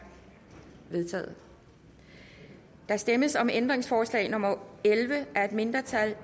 vedtaget der stemmes om ændringsforslag nummer elleve af et mindretal